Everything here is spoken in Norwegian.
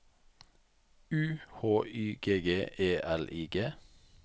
U H Y G G E L I G